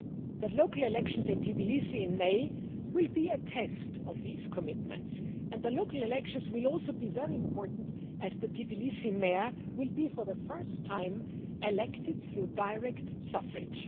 The local elections in Tbilisi in May will be a test of these commitments, and the local elections will be very important as the Tbilisi mayor will be for the first time elected by direct suffrage.